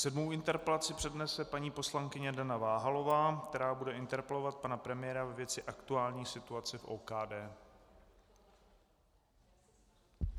Sedmou interpelaci přednese paní poslankyně Dana Váhalová, která bude interpelovat pana premiéra ve věci aktuální situace v OKD.